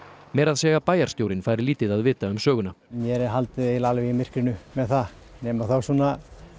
meira að segja bæjarstjórinn fær lítið að vita um söguna mér er haldið eiginlega alveg í myrkrinu með það nema þá svona